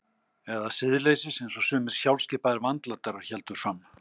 Eða siðleysis einsog sumir sjálfskipaðir vandlætarar héldu fram.